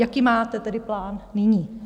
Jaký máte tedy plán nyní?